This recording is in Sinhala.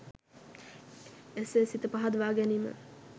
එසේ සිත පහදවා ගැනීම